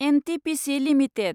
NTPC limited